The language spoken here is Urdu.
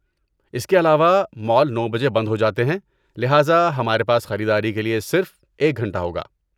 اس کے علاوہ، مال نو بجے بند ہو جاتے ہیں لہذا ہمارے پاس خریداری کے لیے صرف ایک گھنٹہ ہوگا